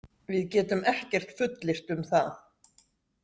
Við getum ekkert fullyrt um það.